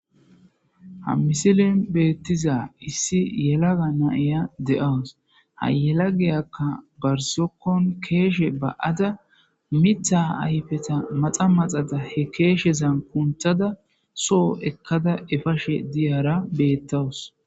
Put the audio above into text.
Ha misilen beeththiza issi yelaga na7iya de7awus; ha yelagiyakka bar zokkon keeshe ba7ada miththa ayfetha maxa maxada he keeshezan kunththada soo ekkada efashe diyara beeththawus.